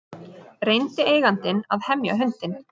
Reyndi eigandinn að hemja hundinn